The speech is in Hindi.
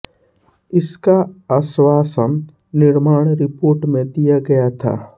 इसका आश्वासन निर्माण रिपोर्ट में दिया गया था